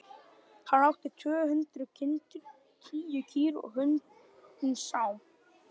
Hann átti tvö hundruð kindur, tíu kýr og hundinn Sám.